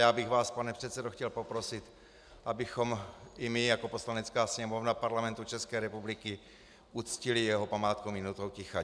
Já bych vás, pane předsedo, chtěl poprosit, abychom i my jako Poslanecká sněmovna Parlamentu České republiky uctili jeho památku minutou ticha.